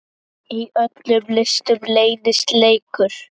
Í öllum listum leynist leikur.